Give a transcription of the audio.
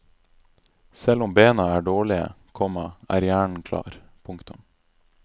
Selv om bena er dårlige, komma er hjernen klar. punktum